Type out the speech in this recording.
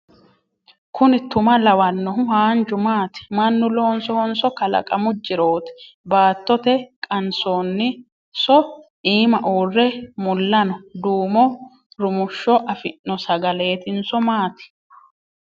Kuni tuma lawannogu haanju maati? Mannu loonsohonso kalaqamu jirooti? Baattote qansoonni so iima uurre mulla no? Duumo rumushsho afi'no sagaleetinso maati?